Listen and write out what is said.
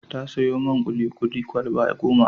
Ta sayo man kuli-kuli kwalaba goma.